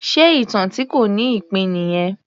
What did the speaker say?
Ṣe ìtàn tí kò ní ìpín nìyẹn?